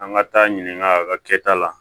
An ka taa ɲininka a ka kɛta la